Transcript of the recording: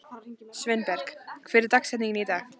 Sveinberg, hver er dagsetningin í dag?